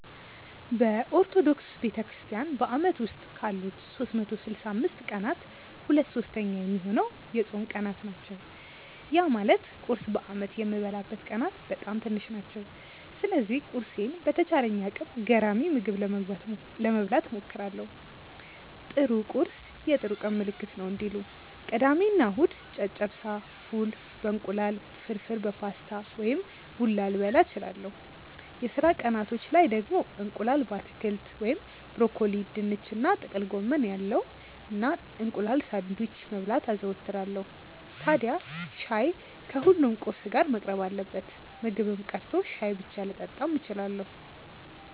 በኦርቶዶክስ ቤተክርስትያን በአመት ውስጥ ካሉት 365 ቀናት ሁለት ሶስተኛ ሚሆነው የጾም ቀናት ናቸው። ያ ማለት ቁርስ በአመት የምበላበት ቀናት በጣም ትንሽ ናቸው። ስለዚህ ቁርሴን በተቻለኝ አቅም ገራሚ ምግብ ለመብላት እሞክራለው 'ጥሩ ቁርስ የጥሩ ቀን ምልክት ነው' እንዲሉ። ቅዳሜ እና እሁድ ጨጨብሳ፣ ፉል በ እንቁላል፣ ፍርፍር በፓስታ ወይም ቡላ ልበላ እችላለው። የስራ ቀናቶች ላይ ደግሞ እንቁላል በአትክልት (ብሮኮሊ፣ ድንች እና ጥቅል ጎመን ያለው) እና እንቁላል ሳንድዊች መብላት አዘወትራለው። ታድያ ሻይ ከሁሉም ቁርስ ጋር መቅረብ አለበት። ምግብም ቀርቶ ሻይ ብቻ ልጠጣም እችላለው።